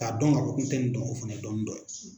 K'a dɔn ka k'i tɛ nin dɔn o fana ye dɔnni dɔ ye.